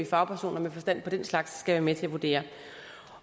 fagpersoner med forstand på den slags skal være med til at vurdere